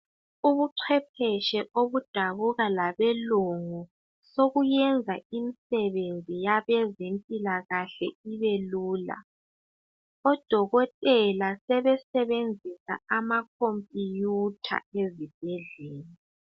Ubucepheshe okudabuka ngabelungu sokuyenza imisebenzi yabezemphilakahle ibelula. Odokotela sebenzisa amakhophuyutha ezibhedlela.